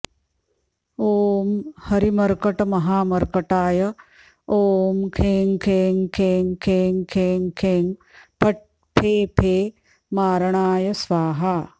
ॐ हरिमर्कटमहामर्कटाय ॐ खें खें खें खें खें खें फट् फे फे मारणाय स्वाहा